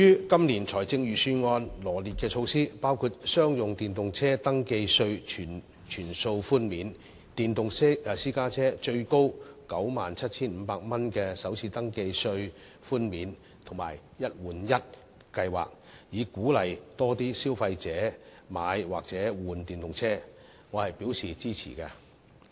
今年財政預算案羅列的措施，包括商用電動車登記稅全數寬免、電動私家車最高 97,500 元的首次登記稅寬免，以及"一換一"計劃，以鼓勵更多消費者購買或更換電動車，對此我是表示支持的。